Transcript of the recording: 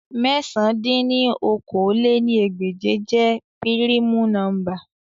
Mẹ̀sán dín ní okòó-lé-ní-ẹgbẹ́je jẹ pirimu nọmba